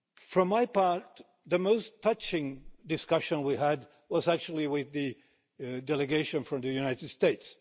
For my part, the most touching discussion we had was actually with the delegation from the United States.